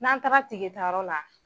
N'an taara tike ta yɔrɔ la.